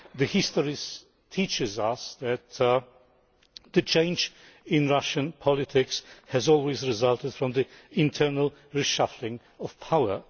History teaches us that change in Russian politics has always resulted from the internal reshuffling of power.